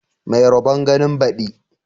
Mai rabon ganin baɗi